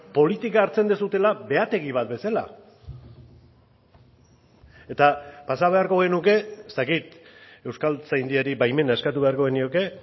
politika hartzen duzuela behategi bat bezala eta pasa beharko genuke ez dakit euskaltzaindiari baimena eskatu beharko genioke